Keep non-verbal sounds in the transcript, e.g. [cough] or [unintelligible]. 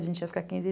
A gente ia ficar [unintelligible]